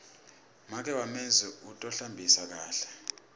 make wamenzi u tohlambisa kakhe